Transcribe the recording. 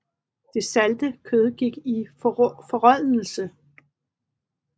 Det salte kød gik i forrådnelse